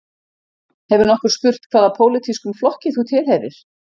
Hefur nokkur spurt hvaða pólitískum flokki þú tilheyrir